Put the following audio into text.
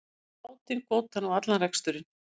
Bátinn, kvótann og allan reksturinn.